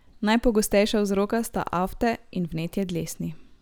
Najpogostejša vzroka sta afte ali vnetje dlesni.